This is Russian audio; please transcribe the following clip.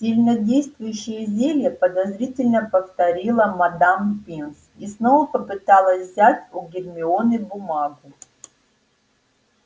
сильнодействующие зелья подозрительно повторила мадам пинс и снова попыталась взять у гермионы бумагу